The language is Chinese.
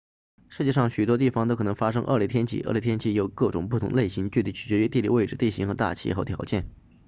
世界上任何地方都可能发生恶劣天气恶劣天气有各种不同类型具体取决于地理位置地形和大气条件